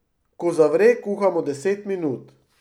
Ko zavre, kuhamo deset minut.